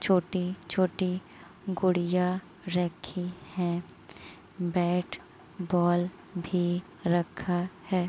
छोटी छोटी गुड़िया रखी है। बैट बॉल भी रखा है।